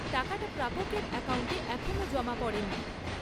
টাকাটা প্রাপকের অ্যাকাউন্টে এখনও জমা পড়েনি।